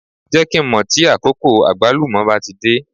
Jẹ́ kí n mọ̀ tí àkókò Àgbálùmọ́ bá ti dé.